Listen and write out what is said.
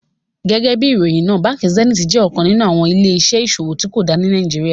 Gẹgẹbi iròyin náà, Bánkì Sẹ̀nítì jẹ́ ọkan nínu awọn ilẹ̀-iṣẹ̀ iṣòwò tío dá ní Nàìjíríà.